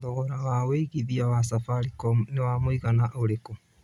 thogora wa wĩĩgĩthĩa wa safaricom nĩ wa mũigana ũrĩkũ